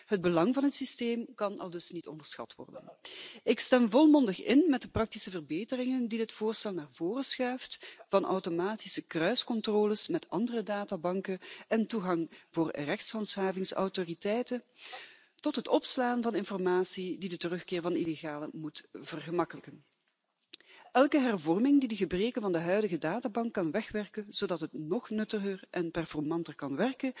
Het belang van het systeem kan aldus niet onderschat worden. Ik stem volmondig in met de praktische verbeteringen die dit voorstel naar voren schuift, van automatische kruiscontroles met andere databanken en toegang voor rechtshandhavingsautoriteiten, tot het opslaan van informatie die de terugkeer van illegalen moet vergemakkelijken. Elke hervorming die de gebreken van de huidige databank kan wegwerken, zodat het nog nuttiger en doeltreffend wordt, kan